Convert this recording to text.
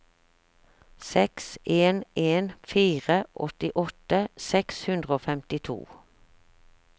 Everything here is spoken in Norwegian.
seks en en fire åttiåtte seks hundre og femtito